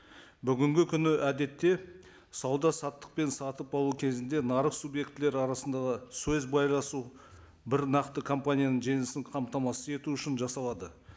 бүгінгі күні әдетте сауда саттық пен сатып алу кезінде нарық субъектілері арасында да сөз байласу бір нақты компанияның жеңісін қамтамасыз ету үшін жасалады